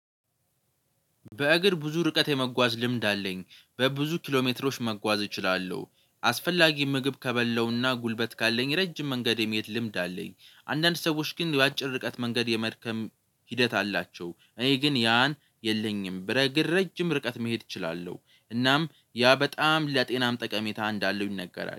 በእግር ብዙ ርቀት የመጓዝ ልምድ አለኝ በብዙ ኪሎ ሜትሮች መጓዝ እችላለሁ። አስፈላጊ ምግብ ከበላውና ጉልበት ካለኝ ረጅም መንገድም የመሄድ ልምድ አለኝ። አንዳንድ ሰዎች ግን የአጭር ርቀት መንገድ የመድከም ሂደት አላቸው። እኔ ግን ያን የለኝም ብረግር ረጅም ርቀት መሄድ እችላለሁ። እናም ያ በጣም ለጤናም ጠቀሜታ እንዳለው ይነገራል